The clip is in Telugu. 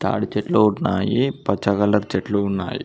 తాడి చెట్లు ఉన్నాయి పచ్చ కలర్ చెట్లు ఉన్నాయి.